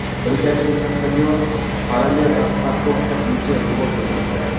Britaniyalik kaskadyor parallel parkovka bo‘yicha rekord o‘rnatdi .